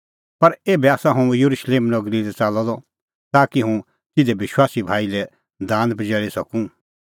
पर एभै आसा हुंह येरुशलेम नगरी लै च़ाल्लअ द ताकि हुंह तिधे विश्वासी भाई लै दान पजैल़ी सकूं